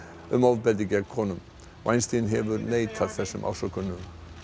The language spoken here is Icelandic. um ofbeldi gegn konum hefur neitað þessum ásökunum